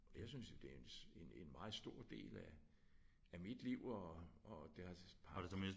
Jeg synes jo det er en af de en en en meget stor del af af mit liv og og det her